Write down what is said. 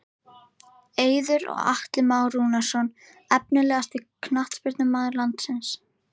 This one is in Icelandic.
Eiður og Atli Már Rúnarsson Efnilegasti knattspyrnumaður landsins?